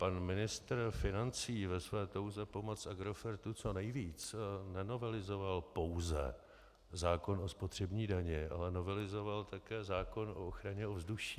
Pan ministr financí ve své touze pomoci Agrofertu co nejvíc nenovelizoval pouze zákon o spotřební dani, ale novelizoval také zákon o ochraně ovzduší.